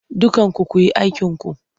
Dukkanku ku yi aikinku!